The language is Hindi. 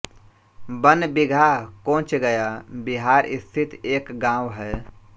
बन बीघा कोंच गया बिहार स्थित एक गाँव है